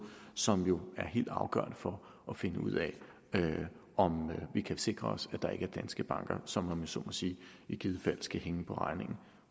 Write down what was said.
som jo er helt afgørende for at finde ud af om vi kan sikre os at der ikke er danske banker som om jeg så må sige i givet fald skal hænge på regningen